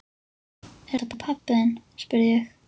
Er þetta pabbi þinn? spurði ég.